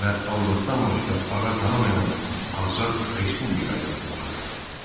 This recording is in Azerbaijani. və Allahdan başqa ağa tanımayan azad respublika yaratmağa.